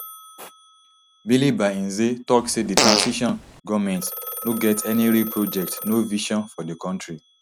bilie by nze tok say di transition goment no get any real project no vision for di kontri